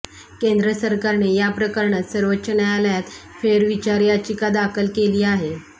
केंद्र सरकारने या प्रकरणात सर्वोच्च न्यायालयात फेरविचार याचिका दाखल केली आहे